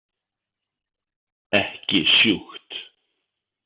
Ekki sjúkt.